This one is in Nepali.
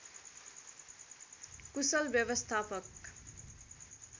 कुशल व्यवस्थापक